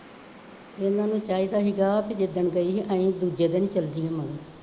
ਇਹਨਾ ਨੂੰ ਚਾਹੀਦਾ ਸੀਗਾ ਬਈ ਜਿਦਣ ਗਈ, ਅਸੀਂ ਦੂਜੇ ਦਿਨ ਹੀ ਚੱਲ ਜਾਈਏ ਮਗਰ